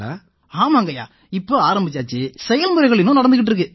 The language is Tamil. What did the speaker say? ஆமாங்கய்யா இப்ப ஆரம்பிச்சாச்சு செயல்முறைகள் இன்னும் நடந்திட்டு இருக்கு